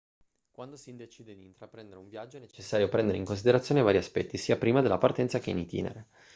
quando si decide di intraprendere un viaggio è necessario prendere in considerazione vari aspetti sia prima della partenza che in itinere